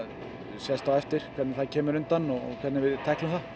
sést á eftir hvernig það kemur undan og hvernig við tæklum það